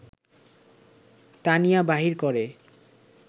টানিয়া বাহির করে